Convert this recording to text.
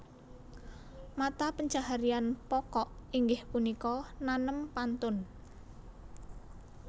Mata pencaharian pokok inggih punika nanem pantun